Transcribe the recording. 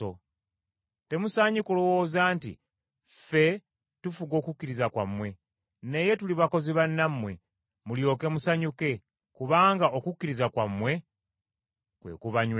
Temusaanye kulowooza nti ffe tufuga okukkiriza kwammwe, naye tuli bakozi bannammwe, mulyoke musanyuke, kubanga okukkiriza kwammwe kwe kubanywezezza.